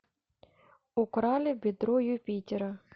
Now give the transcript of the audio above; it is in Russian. украли бедро юпитера